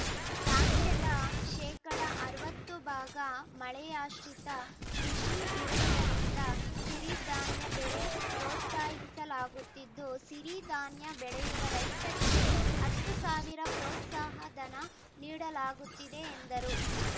ರಾಜ್ಯದ ಶೇಕಡಾ ಅರವತ್ತು ಭಾಗ ಮಳೆಯಾಶ್ರಿತ ಕೃಷಿ ಇರುವುದರಿಂದ ಸಿರಿಧಾನ್ಯ ಬೆಳೆ ಪ್ರೋತ್ಸಾಹಿಸಲಾಗುತ್ತಿದ್ದು ಸಿರಿಧಾನ್ಯ ಬೆಳೆಯುವ ರೈತರಿಗೆ ಹತ್ತು ಸಾವಿರ ಪ್ರೋತ್ಸಾಹ ಧನ ನೀಡಲಾಗುತ್ತಿದೆ ಎಂದರು